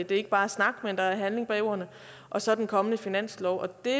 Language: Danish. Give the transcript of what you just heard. det ikke bare er snak men at der er handling bag ordene og så den kommende finanslov det